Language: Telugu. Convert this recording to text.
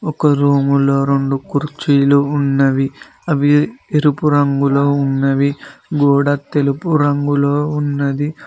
ఒక రూములో రెండు కుర్చీలు ఉన్నవి అవి ఎరుపు రంగులో ఉన్నవి గోడ తెలుపు రంగులో ఉన్నది.